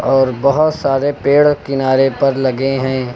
और बहोत सारे पेड़ किनारे पर लगे हैं।